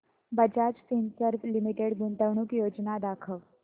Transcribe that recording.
Bajaj Finserv limited गुंतवणूक योजना दाखव